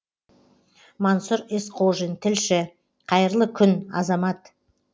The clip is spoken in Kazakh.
мансұр есқожин тілші қайырлы күн азамат